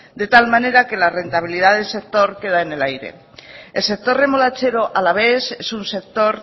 de tal manera que la rentabilidad del sector queda en el aire el sector remolachero alavés es un sector